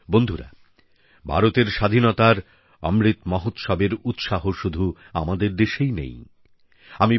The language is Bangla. বন্ধুরা ভারতের স্বাধীনতার অমৃত মহোৎসবের উৎসাহ শুধু আমাদের দেশেই সীমাবদ্ধ নেই